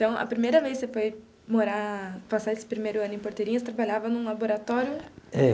Então, a primeira vez que você foi morar, passar esse primeiro ano em Porteirinha, trabalhava em um laboratório? É.